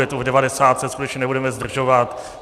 Je to v devadesátce, skutečně nebudeme zdržovat.